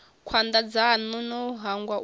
khwanda dzanu no hangwa u